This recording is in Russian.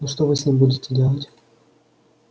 ну что вы с ним будете делать